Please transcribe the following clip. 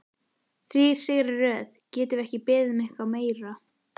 Þrír sigrar í röð, getum við beðið um eitthvað meira?